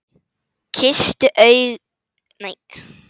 Kysstu ekki augu mín.